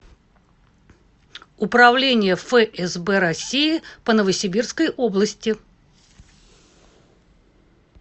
управление фсб россии по новосибирской области